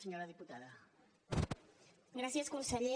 gràcies conseller